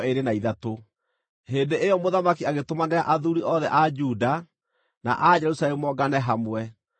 Hĩndĩ ĩyo mũthamaki agĩtũmanĩra athuuri othe a Juda na a Jerusalemu moongane hamwe.